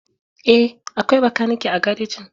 Eh, akwai bakanike a garejin.